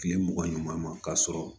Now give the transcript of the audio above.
Kile mugan ɲɔgɔn ma k'a sɔrɔ